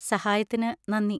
സഹായത്തിന് നന്ദി.